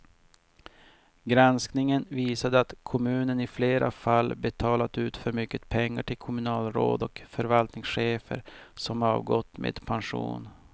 Granskningen visade att kommunen i flera fall betalat ut för mycket pengar till kommunalråd och förvaltningschefer som avgått med pension.